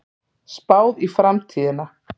Spáð í framtíðina